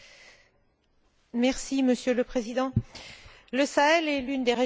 Monsieur le Président, le Sahel est l'une des régions les plus pauvres du monde.